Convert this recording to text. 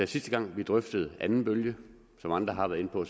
sidste gang drøftede anden bølge som andre har været inde på